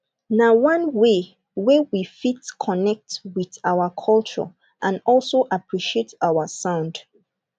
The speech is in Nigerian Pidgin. na one way wey we fit connect with our culture and also appreciate our sound